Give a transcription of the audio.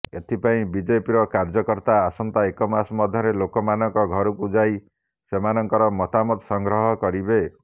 ଏଥିପାଇଁ ବିଜେପିର କାର୍ଯ୍ୟକର୍ତ୍ତା ଆସନ୍ତା ଏକ ମାସ ମଧ୍ୟରେ ଲୋକମାନଙ୍କ ଘରକୁ ଯାଇ ସେମାନଙ୍କର ମତାମତ ସଂଗ୍ରହ କରିବେ